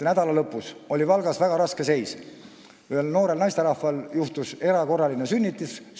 Nädala lõpus oli Valgas väga raske seis: ühel noorel naisterahval oli erakorraline sünnitus.